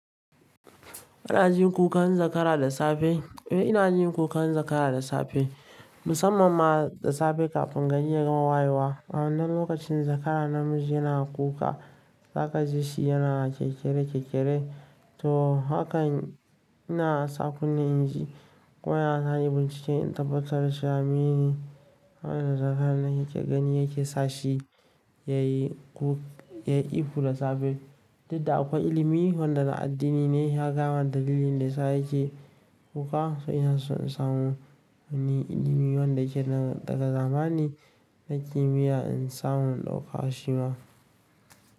Ina jin kukan zakara da safe. Eh ina jin kukan zakara da safe, musamman ma da safe kafin ganye ya gama wayewa. A wannan lokacin zakara namiji yana kuka, za ka ji shi yana kekere kekere. To haka ina sa kunne inji ko ya na hanyar bincike in tabbatar da sha'aminin wannan zakara yake gani yake sa shi yayi ku-- yayi ihu da safe. To, da akwai ilimi wanda na addini ne ya kama dalilin da ya sa yake kuka. To ina so in samu wani ilimi wanda yake daga zamani na kimiyya in samu ɗauka shi ma.